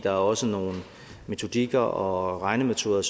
er også nogle metodikker og regnemetoder